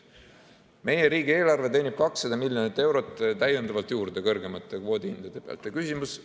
Meie riigieelarve teenib 200 miljonit eurot kõrgemate kvoodihindade pealt täiendavalt juurde.